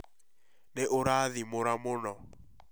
Nĩ ũraathĩmura mũno